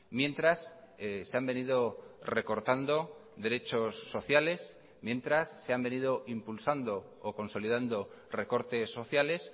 mientras se han venido recortando derechos sociales mientras se han venido impulsando o consolidando recortes sociales